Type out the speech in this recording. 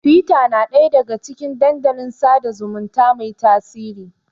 Tiwita na ɗaya daga cikin dandalin sada zumunta mai tasiri.